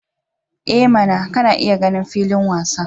I mana! kana iya ganin filin wasan.